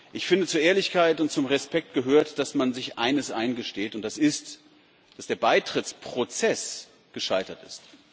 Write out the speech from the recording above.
Ich finde, zu Ehrlichkeit und zum Respekt gehört, dass man sich eines eingesteht, nämlich, dass der Beitrittsprozess gescheitert ist.